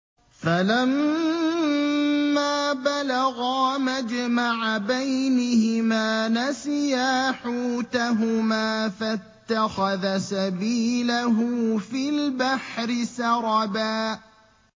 فَلَمَّا بَلَغَا مَجْمَعَ بَيْنِهِمَا نَسِيَا حُوتَهُمَا فَاتَّخَذَ سَبِيلَهُ فِي الْبَحْرِ سَرَبًا